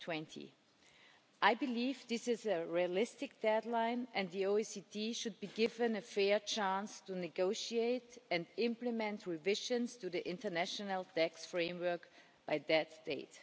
2020. I believe this is a realistic deadline, and the OECD should be given a fair chance to negotiate and implement revisions to the international tax framework by that date.